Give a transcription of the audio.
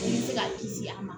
I bɛ se ka kisi a ma